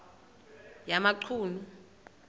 yamachunu